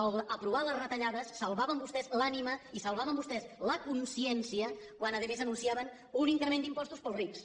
en aprovar les retallades salvaven vostès l’ànima i salvaven vostès la consciència quan a més anunciaven un increment d’impostos per als rics